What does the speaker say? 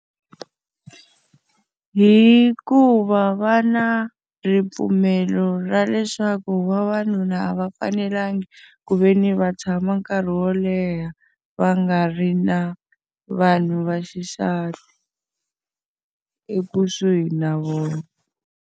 Hikuva va na ripfumelo ra leswaku vavanuna a va fanelanga ku ve ni va tshama nkarhi wo leha, va nga ri na vanhu va xisati ekusuhi na vona.